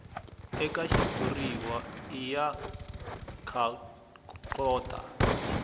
eka xitshuriwa i ya nkhaqato